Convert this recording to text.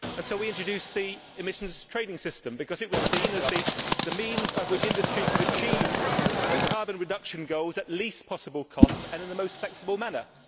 We introduced the Emissions Trading System because it was seen as the means by which industry could achieve carbon reduction goals at the least possible cost and in the most flexible manner.